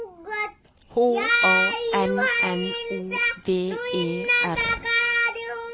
H A N N O V E R